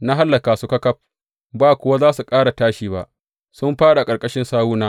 Na hallaka su ƙaƙaf, ba kuwa za su ƙara tashi ba, sun fāɗi a ƙarƙashin sawuna.